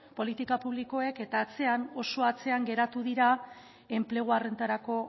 eta atzean oso atzean geratu dira enplegu horretarako